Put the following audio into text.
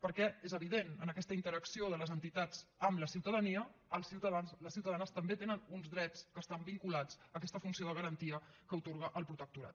perquè és evident en aquesta interacció de les entitats amb la ciutadania els ciutadans les ciutadanes també tenen uns drets que estan vinculats a aquesta funció de garantia que atorga el protectorat